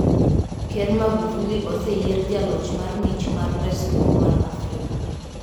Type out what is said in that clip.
Ker Magufuli oseyier jaloch mar mich mar resruok mar Afrika.